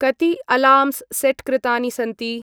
कति alarms set कृृतानि सन्ति?